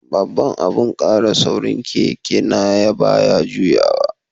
Babban abun kara saurin keke na baya juyowa.